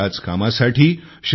आणि याच कामासाठी श्री